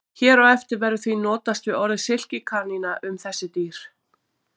Hér á eftir verður því notast við orðið silkikanína um þessi dýr.